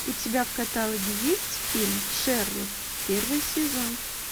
у тебя в каталоге есть фильм шерлок первый сезон